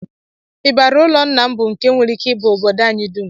Ịbarị ụlọ Nna m bụ nke nwereike ịba obodo anyị dum